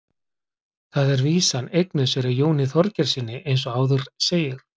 Þar er vísan eignuð séra Jóni Þorgeirssyni eins og áður segir.